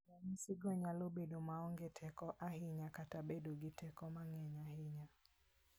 Ranyisigo nyalo bedo maonge teko ahinya kata bedo gi teko mang'eny ahinya.